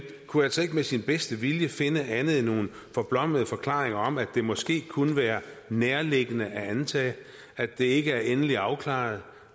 kunne altså ikke med sin bedste vilje finde andet end nogle forblommede forklaringer om at det måske kunne være nærliggende at antage at det ikke er endeligt afklaret